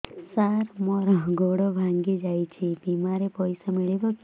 ସାର ମର ଗୋଡ ଭଙ୍ଗି ଯାଇ ଛି ବିମାରେ ପଇସା ମିଳିବ କି